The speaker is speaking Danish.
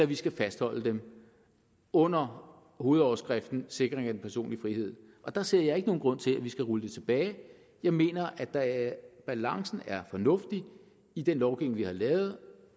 vi skal fastholde dem under hovedoverskriften sikring af den personlige frihed og der ser jeg ikke nogen grund til at vi skal rulle det tilbage jeg mener at balancen er fornuftig i den lovgivning vi har lavet